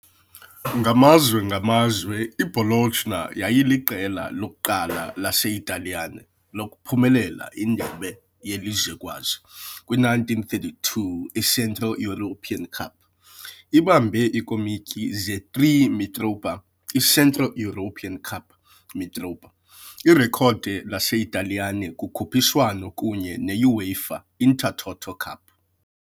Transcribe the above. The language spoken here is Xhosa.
Ngamazwe ngamazwe, i-Bologna yayiyiqela lokuqala laseItaliyane lokuphumelela indebe yelizwekazi, kwi -1932, i-Central European Cup, ibambe iikomityi ze-3 Mitropa, i-Central European Cup Mitropa, irekhodi laseItaliyane kukhuphiswano, kunye ne-UEFA Intertoto Cup.